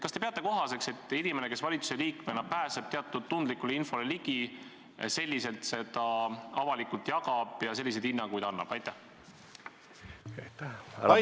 Kas te peate kohaseks, et inimene, kes valitsusliikmena pääseb teatud tundlikule infole ligi, selliselt seda avalikult jagab ja selliseid hinnanguid annab?